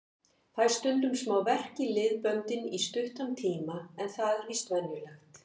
Fæ stundum smá verk í liðböndin í stuttan tíma en það er víst venjulegt.